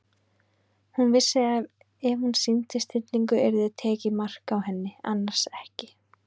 Hún vissi að ef hún sýndi stillingu yrði tekið mark á henni- annars ekki.